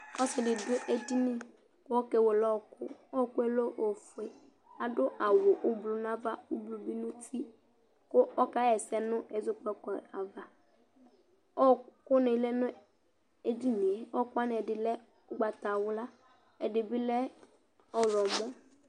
Ɔsɩ dɩ dʋ edini kʋ ɔkewele ɔɣɔkʋ Ɔɣɔkʋ yɛ lɛ ofue Adʋ awʋ ʋblʋ nʋ ava, ʋblʋ bɩ nʋ uti kʋ ɔkaɣa ɛsɛ nʋ ɛzɔkpako ava Ɔɣɔkʋnɩ lɛ nʋ edini yɛ Ɔɣɔkʋ wanɩ ɛdɩ lɛ ʋgbatawla, ɛdɩ bɩ lɛ ɔɣlɔmɔ